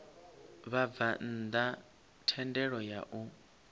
vhabvann ḓa thendelo ya u